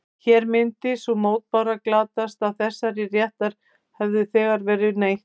Hér myndi sú mótbára glatast að þessa réttar hefði þegar verið neytt.